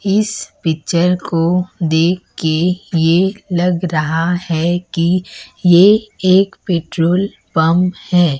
इस पिक्चर को दे के ये लग रहा है कि ये एक पेट्रोल पंप है।